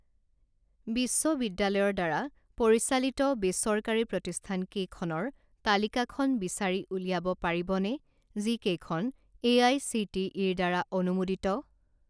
বিশ্ববিদ্যালয়ৰ দ্বাৰা পৰিচালিত বেচৰকাৰী প্ৰতিষ্ঠানকেইখনৰ তালিকাখন বিচাৰি উলিয়াব পাৰিবনে যিকেইখন এআইচিটিইৰ দ্বাৰা অনুমোদিত?